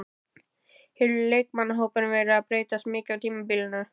Hefur leikmannahópurinn verið að breytast mikið á tímabilinu?